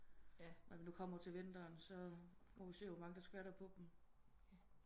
Når vi nu kommer til vinteren så må vi se hvor mange der skvatter på dem